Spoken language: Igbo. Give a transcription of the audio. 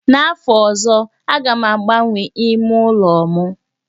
N'afọ ọzọ, aga m agbanwee ime ụlọ m